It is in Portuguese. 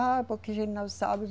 Ah, porque a gente não sabe.